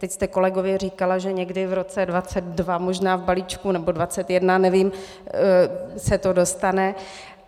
Teď jste kolegovi říkala, že někdy v roce 2022 možná v balíčku, nebo 2021, nevím, se to dostane.